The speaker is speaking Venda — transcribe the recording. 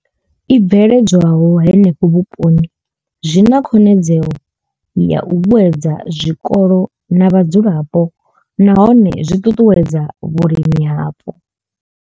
I bveledzwaho henefho vhuponi zwi na khonadzeo ya u vhuedza zwikolo na vhadzulapo nahone zwi ṱuṱuwedza vhulimi hapo.